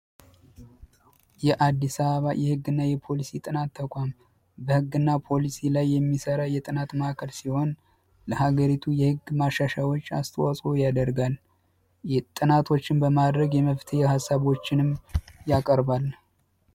የአዲስ አበባ የህግና ፖሊሲ ጥናት ተቋም የህግና ፖሊሲ ጥናት ላይ የሚሰራ ተቋም ሲሆን የሀገሪቱ እቅድ ላይ ማሻሻያዎች ያደርጋል። ጥናቶችን በማድረግ የመፍትሄ ሀሳቦችን ያቀርባል።